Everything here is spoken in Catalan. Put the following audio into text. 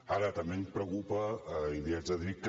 ara també em preocupa i li haig de dir que